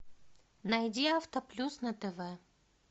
найди авто плюс на тв